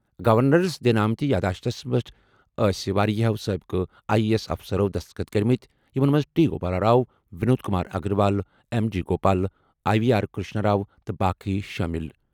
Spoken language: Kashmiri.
گورنرَس دِنہٕ آمٕتہِ یادداشتَس پٮ۪ٹھ ٲسہِ واریٛاہَو سٲبقہٕ آئی اے ایس افسرَو دستخط کٔرمٕتہِ یِمَن منٛز T Gopal Rao, Vinod Kumar Agarwal, M G Gopal, I V R Krishna Rao تہٕ باقٕے شٲمِل۔